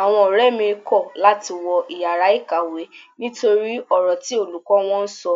Àwọn ọ̀rẹ́ mi kọ̀ láti wọ ìyára ìkàwé nítorí ọ̀rọ̀ tí olùkọ́ wọn sọ